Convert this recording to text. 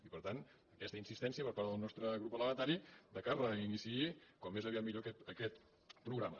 i per tant aquesta insistència per part del nostre grup parlamentari que es reiniciï com més aviat millor aquest programa